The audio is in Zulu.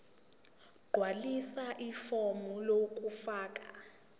gqwalisa ifomu lokufaka